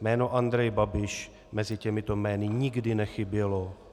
Jméno Andrej Babiš mezi těmito jmény nikdy nechybělo.